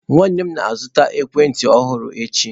Nwanne m na-azụta ekwentị ọhụrụ echi.